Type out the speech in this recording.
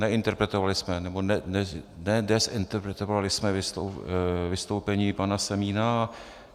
Neinterpretovali jsme nebo nedezinterpretovali jsme vystoupení paní Semína.